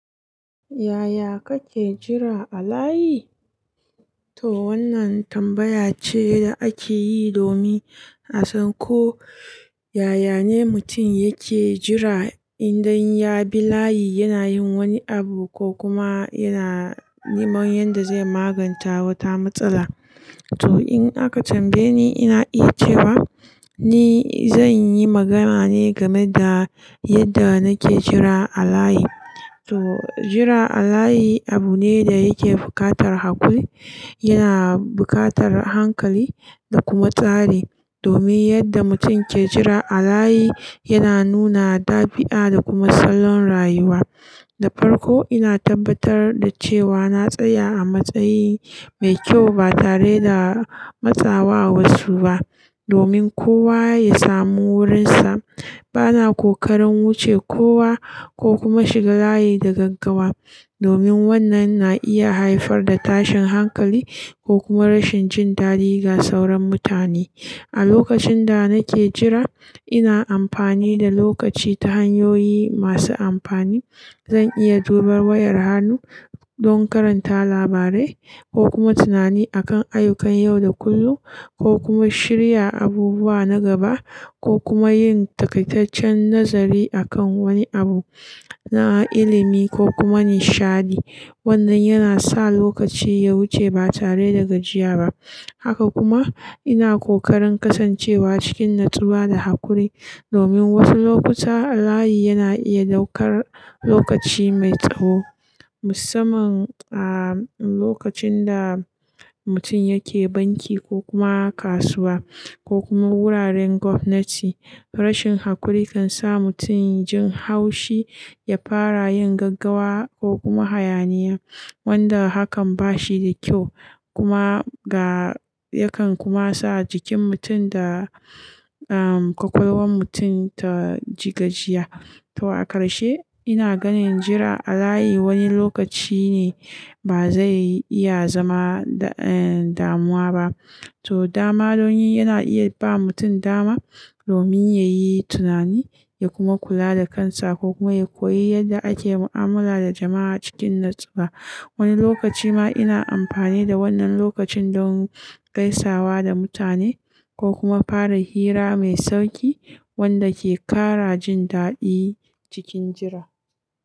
Yaya kake jira a layi? To wannan tambaya ce da ake yi domin a san ko yaya ne mutun yake jira indai ya bi layi yana yin wani abu ko kuma yana neman yanda zai maganta wata matsala. To in aka tambaye ni, ina iya cewa ni zan yi magana ne game da yadda nake jira a layi. To jira a layi abu ne da yake buƙatar haƙuri, yana buƙatar hankali da kuma tsari domin yadda mutun ke jira a layi yana nuna dabi'a da kuma salon rayuwa. Da farko ina tabbatar da cewa na tsaya a matsayi mai kyau ba tare da matsawa a wasu ba domin kowa ya samu wurinsa. Bana kokarin wuce kowa ko kuma shiga layi da gaggawa domin wannan na iya haifar da tashin hankali ko kuma rashin jin dadi ga sauran mutane. A lokacin da nake jira, ina amfani da lokaci ta hanyoyi masu amfani. Zan iya jubar wayar hannu don karanta labarai ko kuma tunani akan ayyukan yau da kullun, ko kuma shirya abubuwa na gaba, ko kuma yin takaitaccen nazari akan wani abu na ilimi ko kuma nishadi. Wannan yana sa lokaci ya wuce ba tare da gajiya ba. Haka kuma ina kokarin kasancewa cikin natsuwa da hakuri domin wasu lokuta layi yana iya daukar lokaci mai tsawo, musamman a lokacin da mutun yake banki ko kuma kasuwa ko kuma wuraren gwamnati. Rashin hakuri kan sa mutun jin haushi, ya fara yin gaggawa ko kuma hayaniya, wanda hakan ba shi da kyau kuma ga-- yakan kuma sa jikin mutun da, um, kwakwalwan mutun ta ji gajiya. To a karshe ina ganin jira a layi wani lokaci ne ba zai iya zama, eh, damuwa ba. To dama don yi yana iya ba mutun dama domin ya yi tunani ya kuma kula da kansa ko kuma ya koyi yadda ake mu'amala da jama'a cikin natsuwa. Wani lokaci ma ina amfani da wannan lokacin don gaisawa da mutane ko kuma fara hira mai sauƙi wanda ke ƙara jin daɗi cikin jira.